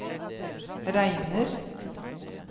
regner